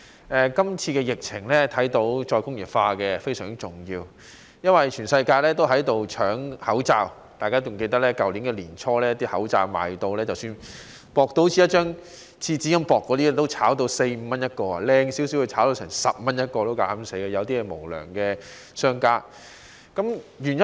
從今次疫情看到再工業化非常重要，因為全世界也在搶口罩，大家還記得去年年初，即使有如廁紙般薄的口罩，也被炒賣至四五元一個，而質素好一點的，有些無良商家竟膽敢炒賣至10元一個。